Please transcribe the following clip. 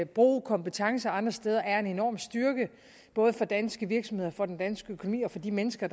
bruge kompetencer andre steder er en enorm styrke både for danske virksomheder og for den danske økonomi og for de mennesker